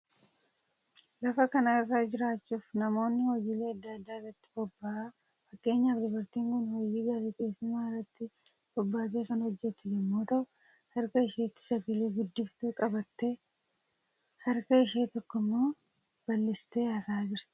Lafa kana irra jiraachuuf namni hojiilee adda addaa irratti bobba'a. Fakkeenyaaf dubartiin Kun hojii gaazexeessummaa irratti bobbaatee kan hojjetu yommuu ta'u, harka isheetti sagalee guddiftuu qabattee, harka ishee tokko immoo bal'istee haasa'aa jirti.